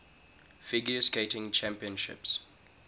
figure skating championships